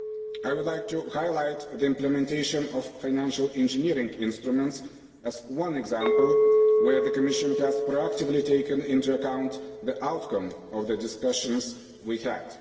I would like to highlight the implementation of financial engineering instruments as one example where the Commission has proactively taken into account the outcome of the discussions we had.